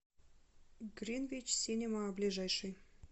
гринвич синема ближайший